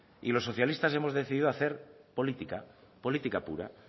y los socialistas hemos decidido hacer política política pura